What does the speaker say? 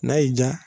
N'a y'i diya